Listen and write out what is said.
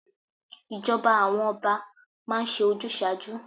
Ìjọba àwọn Ọba máa ń ṣe ojúsàájú.